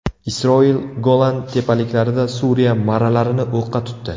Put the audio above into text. Isroil Golan tepaliklarida Suriya marralarini o‘qqa tutdi.